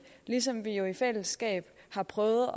ligesom vi jo i fællesskab har prøvet